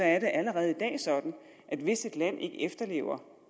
allerede i dag sådan at hvis et land ikke efterlever